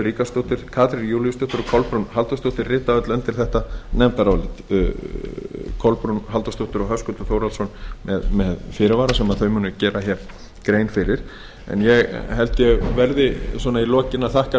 ríkharðsdóttir katrín júlíusdóttir og kolbrún halldórsdóttir rita öll undir þetta nefndarálit kolbrún halldórsdóttir og höskuldur þórhallsson með fyrirvara sem þau auknu gera hér grein fyrir ég held að ég verði svona í lokin að þakka